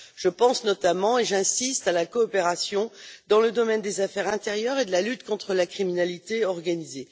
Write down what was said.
Je pense notamment et j'insiste à la coopération dans le domaine des affaires intérieures et de la lutte contre la criminalité organisée.